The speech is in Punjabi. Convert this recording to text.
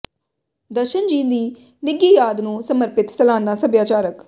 ਦਰਸ਼ਨ ਜੀ ਦੀ ਨਿੱਘੀ ਯਾਦ ਨੂੰ ਸਮਰਪਿਤ ਸਾਲਾਨਾ ਸਭਿਆਚਾਰਕ